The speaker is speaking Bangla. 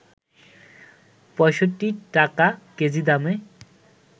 ৬৫ টাকা কেজি দামে